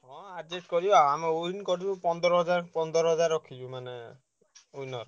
ହଁ adjust କରିବା ଆମେ win କରିବୁ ପନ୍ଦର ହଜାର ପନ୍ଦର ହଜାର ରଖିଛୁ ମାନେ winner